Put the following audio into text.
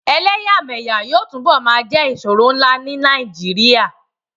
Ẹ̀lẹyàmẹyà yóò tunbo máa jẹ́ ìṣòro ńlá ní Nàìjíríà